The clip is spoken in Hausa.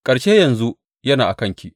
Ƙarshe yanzu yana a kanki.